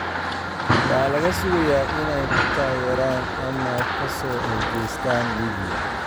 Yaa laga sugayaa inay ku taageeraan ama ka soo horjeestaan ​​Liibiya?